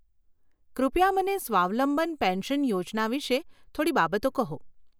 કૃપયા મને સ્વાવલંબન પેન્શન યોજના વિષે થોડી બાબતો કહો.